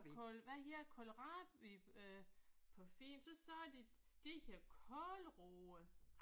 Kål hvad hedder kålrabi øh på fint. Så sagde de det hedder kålroe